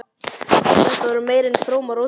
Þetta verða meira en frómar óskir.